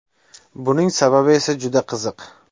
Buning sababi esa juda qiziq.